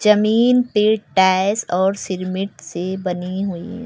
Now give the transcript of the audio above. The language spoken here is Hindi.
जमीन ती टाइल्स और सिरमिट से बनी हुई--